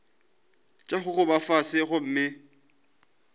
tša go gogoba fase gomme